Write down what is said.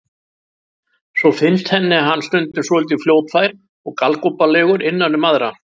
Svo finnst henni hann stundum svolítið fljótfær og galgopalegur innan um aðra.